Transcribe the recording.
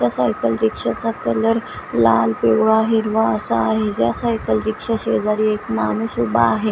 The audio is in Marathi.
या सायकल रिक्षाचा कलर लाल पिवळा हिरवा असा आहे या सायकल रिक्षा शेजारी एक माणूस उभा आहे.